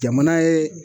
Jamana ye